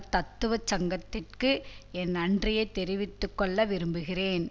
தத்துவச் சங்கத்திற்கு என் நன்றியை தெரிவித்து கொள்ள விரும்புகிறேன்